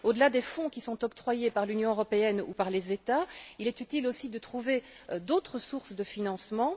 Au delà des fonds qui sont octroyés par l'Union européenne ou par les États, il est utile aussi de trouver d'autres sources de financement.